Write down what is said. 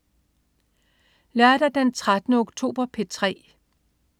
Lørdag den 13. oktober - P3: